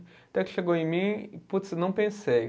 Até que chegou em mim e, puts, não pensei.